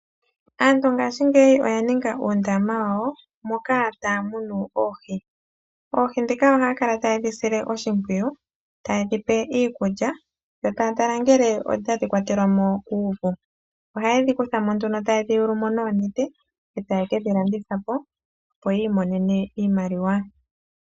Aantu ngaashingeyi oya ninga oondama dhawo moka taya munu oohi . Oohi ndhika ohaya kala tayedhi sile oshimpwiyu, tayedhi pe iikulya , yo taya tala ngele otadhi kwathelwa mo kuuvu. Ohaye dhi kuthamo nduno taye dhi yulu mo noonete , etaye kedhi landithapo opo yiimonene iimaliwa.